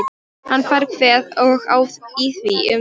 Hann fær kvef og á í því um tíma.